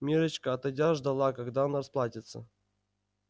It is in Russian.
миррочка отойдя ждала когда он расплатится